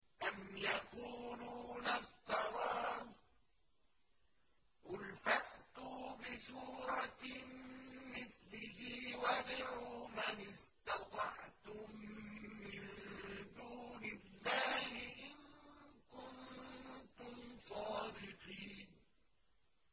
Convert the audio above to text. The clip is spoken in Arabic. أَمْ يَقُولُونَ افْتَرَاهُ ۖ قُلْ فَأْتُوا بِسُورَةٍ مِّثْلِهِ وَادْعُوا مَنِ اسْتَطَعْتُم مِّن دُونِ اللَّهِ إِن كُنتُمْ صَادِقِينَ